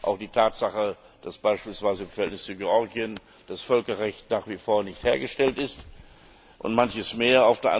Auch die Tatsache, dass beispielsweise im Verhältnis zu Georgien das Völkerrecht nach wie vor nicht hergestellt ist, und manches mehr.